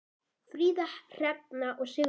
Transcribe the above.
Fríða, Hrefna og Sigrún.